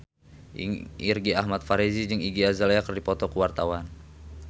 Irgi Ahmad Fahrezi jeung Iggy Azalea keur dipoto ku wartawan